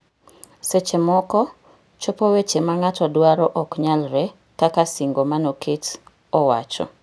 Seche moko, chopo weche ma ng'ato dwaro ok nyalre kaka singo manoket owacho.